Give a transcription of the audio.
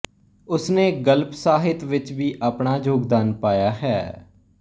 ਉਸਨੇ ਗਲਪ ਸਾਹਿਤ ਵਿੱਚ ਵੀ ਆਪਣਾ ਯੋਗਦਾਨ ਪਾਇਆ ਹੈ